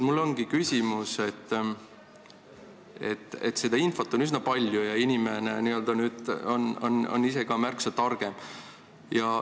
Nii et infot on üsna palju ja inimene ise ka märksa targem.